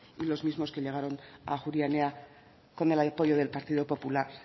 y los mismos que llegaron a ajuria enea con el apoyo del partido popular